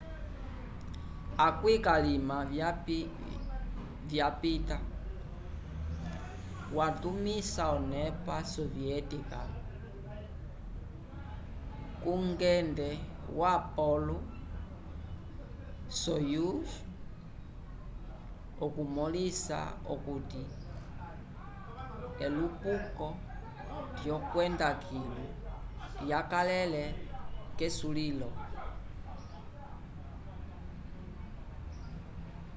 akwĩ k'alima vyapita watumisa onepa soviética kungende wo appolo-soyuz okumõlisa okuti elupuko lyokwenda kilu lyakalele k'esulil